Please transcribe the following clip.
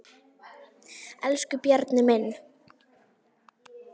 Elsku Bjarni minn.